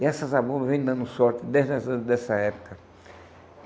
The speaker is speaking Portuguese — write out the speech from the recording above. E essa Zabumba vem dando sorte desde as vezes dessa época.